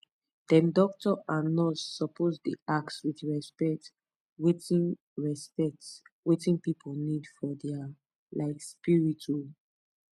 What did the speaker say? dem doctor and nurse suppose dey ask with respect wetin respect wetin pipu need for dia um spirit um